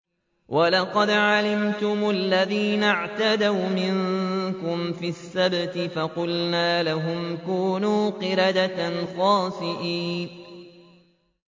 وَلَقَدْ عَلِمْتُمُ الَّذِينَ اعْتَدَوْا مِنكُمْ فِي السَّبْتِ فَقُلْنَا لَهُمْ كُونُوا قِرَدَةً خَاسِئِينَ